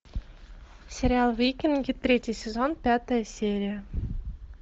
сериал викинги третий сезон пятая серия